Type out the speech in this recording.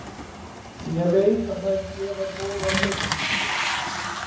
Ég veit að þær gefa góða raun.